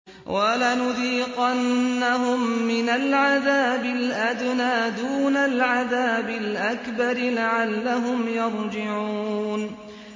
وَلَنُذِيقَنَّهُم مِّنَ الْعَذَابِ الْأَدْنَىٰ دُونَ الْعَذَابِ الْأَكْبَرِ لَعَلَّهُمْ يَرْجِعُونَ